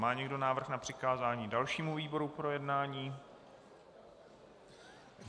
Má někdo návrh na přikázání dalšímu výboru k projednání?